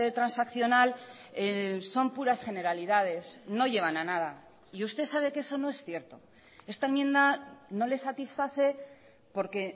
transaccional son puras generalidades no llevan a nada y usted sabe que eso no es cierto esta enmienda no le satisface porque